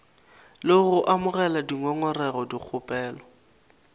le go amogela dingongorego dikgopelo